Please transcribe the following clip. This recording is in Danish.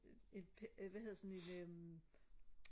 et øh hvad hedder det sådan et øh